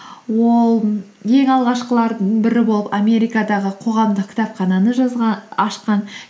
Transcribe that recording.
ол ең алғашқылардың бірі болып америкадаға қоғамдық кітапхананы ашқан